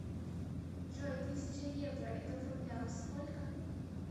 джой тысяча евро это в рублях сколько